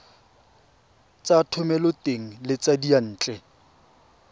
tsa thomeloteng le tsa diyantle